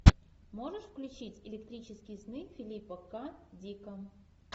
можешь включить электрические сны филипа к дика